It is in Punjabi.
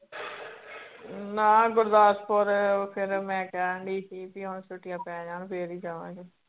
ਨਾ ਗੁਰਦਾਸਪੁਰ ਫਿਰ ਮੈ ਕਹਿਣ ਡਈ ਸੀ ਕਿ ਹੁਣ ਛੁੱਟੀਆਂ ਪੈ ਜਾਨ ਫੇਰ ਈ ਜਾਵਾਂਗੀ